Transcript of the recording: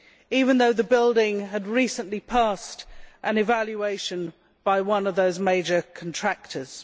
even though the building had recently passed an evaluation by one of those major contractors.